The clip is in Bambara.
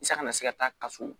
I san kana se ka taa kaso